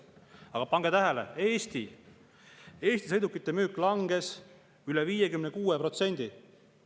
Aga pange tähele, Eestis langes sõidukite müük üle 56%.